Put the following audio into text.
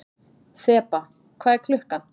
Þeba, hvað er klukkan?